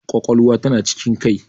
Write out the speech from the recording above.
Ƙwaƙwalwa ta na cikin kai.